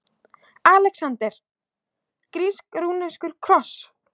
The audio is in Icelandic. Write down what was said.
ALEXANDER: Grísk-rússneskur kross!